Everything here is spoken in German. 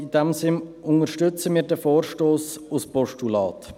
In diesem Sinn unterstützen wir den Vorstoss als Postulat.